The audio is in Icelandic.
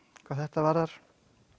hvað þetta varðar